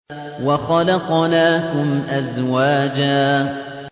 وَخَلَقْنَاكُمْ أَزْوَاجًا